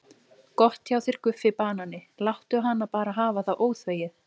Gott hjá þér Guffi banani, láttu hana bara hafa það óþvegið.